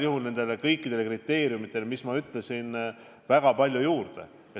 See annab kõikidele kriteeriumitele, mida ma nimetasin, igal juhul väga palju juurde.